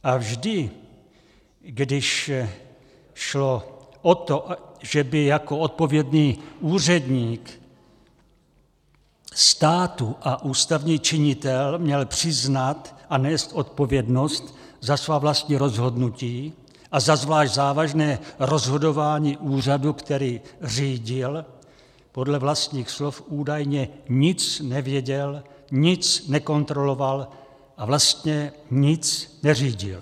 A vždy, když šlo o to, že by jako odpovědný úředník státu a ústavní činitel měl přiznat a nést odpovědnost za svá vlastní rozhodnutí a za zvlášť závažné rozhodování úřadu, který řídil, podle vlastních slov údajně nic nevěděl, nic nekontroloval, a vlastně nic neřídil.